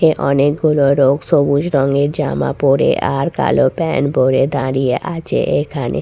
এ অনেকগুলো লোক সবুজ রঙের জামা পরে আর কালো প্যান্ট পরে দাঁড়িয়ে আছে এখানে।